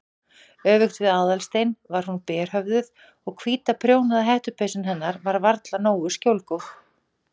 Öfugt við Aðalstein var hún berhöfðuð og hvíta prjónaða hettupeysan hennar var varla nógu skjólgóð.